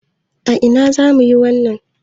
A ina zamu yi wasan?